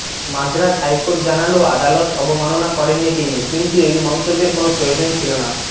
Madras high court জানাল আদালত অবমাননা করেননি তিনি কিন্তু এই মন্তব্যের কোনও প্রয়োজন ছিল না